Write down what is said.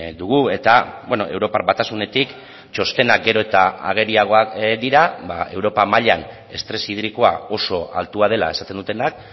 dugu eta europar batasunetik txostenak gero eta ageriagoak dira europa mailan estres hidrikoa oso altua dela esaten dutenak